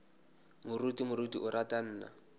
moruti moruti o ra nna